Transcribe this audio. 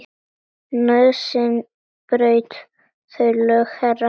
Nauðsyn braut þau lög, herra.